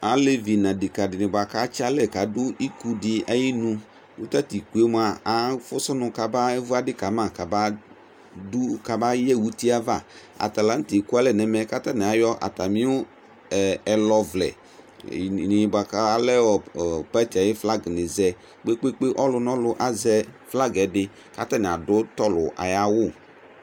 Alɛvi nʋ adeka di ni boa kʋ atsi alɛ kadu iku di ayinu Kʋ tatʋ iku yɛ moa, afʋsʋ nʋ kabavu adi kama kabadu, kabayɛ uti yɛ ava Ata la nʋ tɛ ekualɛ nɛmɛ kʋ atani ayɔ atami ɛlɔvlɛ ni boa kʋ alɛ pati yɛ ayu flagi ni zɛ kpekpeekpe Ɔlʋnɔlʋ azɛ flagi yɛ di kʋ atani adʋ tɔlʋ ayawʋ